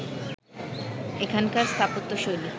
এখানকার স্থাপত্যশৈলী